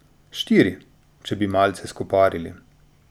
Štiri, če bi malce skoparili.